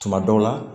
Tuma dɔw la